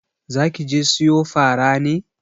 Zaki je siyo fara ne?